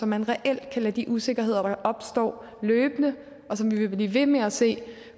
man reelt lade de usikkerheder der opstår løbende og som vi vil blive med at se